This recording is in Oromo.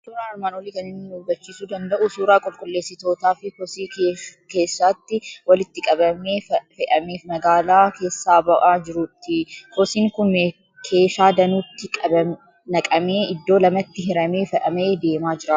Suuraan armaan olii kan inni nu hubachiiisuu danda'u suuraa qulqulleessitootaa fi kosii keeshaatti walitti qabamee, fe'amee magaalaa keessaaba'aa jiruuti. Kosiin kun keeshaa danuutti naqamee, iddoo lamatti hiramee fe'amee deemaa jira.